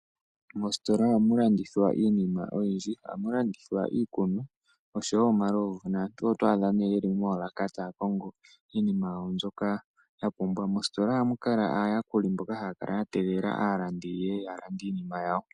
Moositola ohamu landithwa iinima oyindji. Ohamu landithwa iikulya nosho wo omalovu. Nantu oto adha nee ye li moolaka taya kongo iiniima yawo mbyoka ya pumbwa. Mositola ohamu kala aayakuli mboka haya kala ya tegelela aalandi yeye ya lande iinima yawo.